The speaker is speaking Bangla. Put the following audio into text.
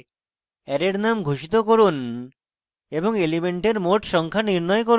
দৈর্ঘ্য 7 এর সাথে অ্যারের names ঘোষিত করুন এবং